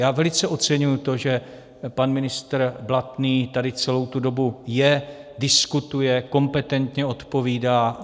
Já velice oceňuji to, že pan ministr Blatný tady celou tu dobu je, diskutuje, kompetentně odpovídá.